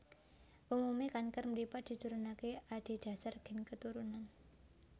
Umume kanker mripat diturunake adhedhasar gen keturunan